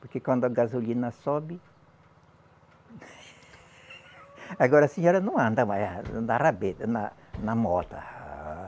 Porque quando a gasolina sobe. Agora a senhora não anda mais a, na rabeta, na mota.